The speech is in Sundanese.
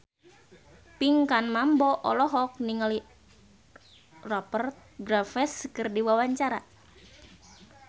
Pinkan Mambo olohok ningali Rupert Graves keur diwawancara